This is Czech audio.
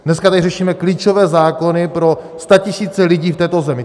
Dneska tady řešíme klíčové zákony pro statisíce lidí v této zemi.